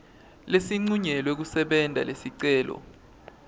lesincunyelwe kusebenta lesicelo